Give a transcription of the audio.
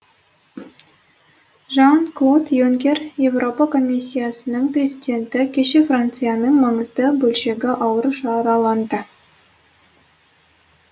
жан клод юнкер еуропа комиссиясының президенті кеше францияның маңызды бөлшегі ауыр жараланды